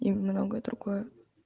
и многое другое